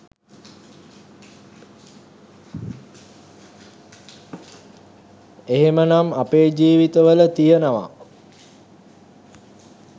එහෙමනම් අපේ ජීවිතවල තියෙනව